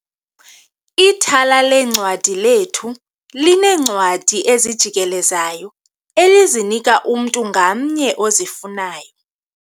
Ithala leencwadi lethu lineencwadi ezijikelezayo elizinika umntu ngamnye ozifunayo.